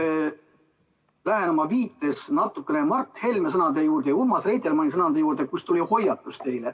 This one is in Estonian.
Ma lähen oma viites natukene Mart Helme sõnade juurde ja Urmas Reitelmanni sõnade juurde, milles oli hoiatus.